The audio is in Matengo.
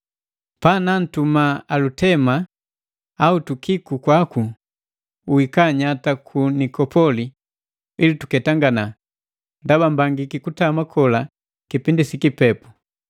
Panuntuma Alutema au Tukiko kwaku, uika nyata ku Nikopoli ili tuketangana, ndaba mbangiki kutama kola kipindi si kipepu.